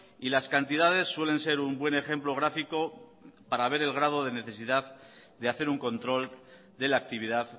y las cantidades suelen ser un buen ejemplo gráfico para ver el grado de necesidad de hacer un control de la actividad